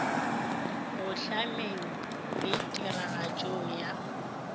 go hlameng le tiragatšong ya